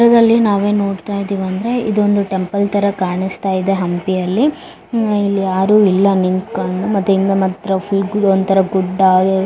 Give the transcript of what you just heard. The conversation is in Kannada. ಚಿತ್ರದಲ್ಲಿ ನಾವು ಏನ್ ನೋಡತ್ತಾ ಇದೀವಿ ಅಂದ್ರೆ ಇದೊಂದು ಟೆಂಪಲ್ ತರ ಕಾಣಸ್ತಾ ಇದೆ ಹಂಪಿಯಲ್ಲಿ ಉಹ್ ಇಲ್ಲಿ ಯಾರು ಇಲ್ಲಾ ನಿಂತ್ಕೊಂಡ್ ಮತ್ತೆ ಇನ್ ಮತ್ರ ಫುಲ್ ಇದೊಂತರ ಗುಡ್ಡ --